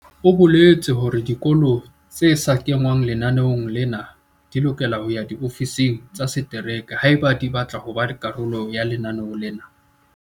O boletse hore dikolo tse sa kengwang lenaneong lena di lokela ho ya diofising tsa setereke haeba di batla ho ba karolo ya lenaneo lena.